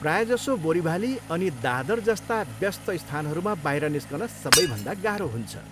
प्रायःजसो बोरिभाली अनि दादर जस्ता व्यस्त स्थानहरूमा बाहिर निस्कन सबैभन्दा गाह्रो हुन्छ।